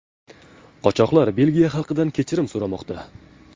Qochoqlar Belgiya xalqidan kechirim so‘ramoqda.